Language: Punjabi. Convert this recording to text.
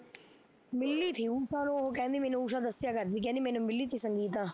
ਮਿਲੀ ਤੀ ਊਸ਼ਾ ਨੂੰ ਉਹ ਕਹਿੰਦੀ ਮੈਨੂੰ ਊਸ਼ਾ ਦੱਸਿਆ ਕਰਦੀ ਤੀ ਕਹਿੰਦੀ ਮੈਨੂੰ ਮਿਲੀ ਤੀ ਸੰਗੀਤਾ